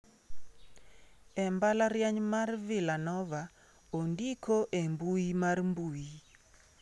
E mbalariany mar Villanova ondiko e mbui mar mbui.